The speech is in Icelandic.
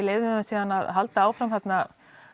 leyfðum þeim síðan að halda áfram þarna